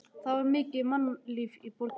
Það var mikið mannlíf í borginni.